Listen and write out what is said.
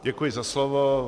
Děkuji za slovo.